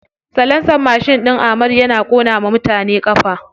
Salansar mashin ɗin amadu yana ƙona wa mutane ƙafa.